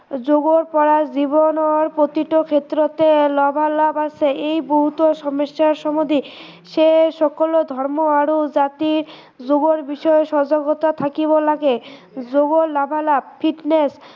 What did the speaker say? যোগৰ পৰা জীৱনৰ প্ৰতিটো ক্ষেত্ৰতে লাভালাভ আছে, এই গুৰুতৰ সমস্য়াৰ সমাধান সেই সকলো ধৰ্ম আৰু জাতি যোগৰ বিষয়ে সজাগতা থাকিব লাগে, যোগৰ লাভালাভ fitness